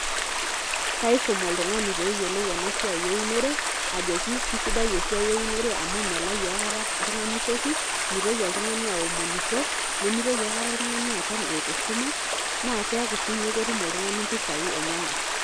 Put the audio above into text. Kaisum oltung'ani peeyiolou ena siai eunore ajoki kisidai esiai eunore amu melayu aikata oltung'ani toki, mitoki oltung'ani aomonisho, nemitoki aikata oltung'ani aton eeta esumash, naa keeku siinye ketum oltung'ani mpisai enyenak.